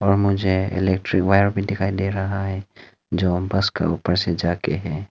और मुझे electric wire भी दिखाई दे रहा है जो बस के ऊपर से जा के है।